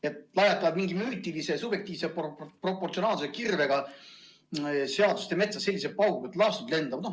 Nad lajatavad mingi müütilise subjektiivse proportsionaalsuse kirvega seaduste metsale sellise paugu, et laastud lendavad.